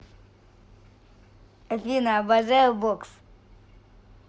афина обожаю бокс